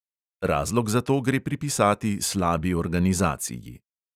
Razlog za to gre pripisati slabi organizaciji.